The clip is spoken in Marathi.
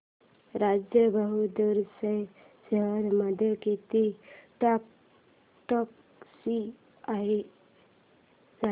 राजा बहादूर च्या शेअर्स मध्ये किती टक्क्यांची वाढ झाली